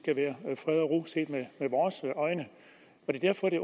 med vores øjne skal